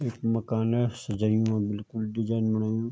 इख मकाने सजयुं ह्वोलु बिलकुल डिजाईन बणयुं।